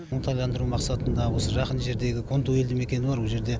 оңтайландыру мақсатында осы жақын жердегі конту елді мекені бар о жерде